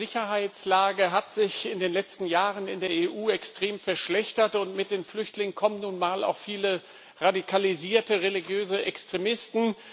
Die Sicherheitslage hat sich in den letzten Jahren in der EU extrem verschlechtert, und mit den Flüchtlingen kommen nun mal auch viele radikalisierte religiöse Extremisten.